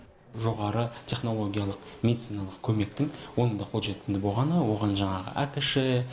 жоғары технологиялық медициналық көмектің орынды қолжетімді болғаны оған жаңағы акш